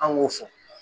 An k'o fɔ